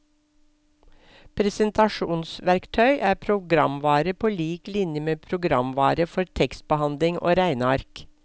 Presentasjonsverktøy er programvare på lik linje med programvare for tekstbehandling og regneark.